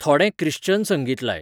थोडें क्रिश्चन संगीत लाय